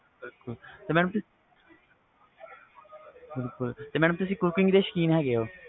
ਬਿਲਕੁਲ ਤੇ ਤੁਸੀ madam cooking ਦੇ ਸੌਕੀਨ ਹੈ ਗੇ ਹੋ